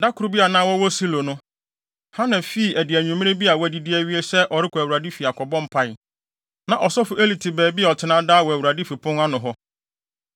Da koro bi a na wɔwɔ Silo no, Hana fii adi anwummere bi a wɔadidi awie sɛ ɔrekɔ Awurade fi akɔbɔ mpae. Na ɔsɔfo Eli te baabi a ɔtena daa wɔ Awurade fi pon ano hɔ.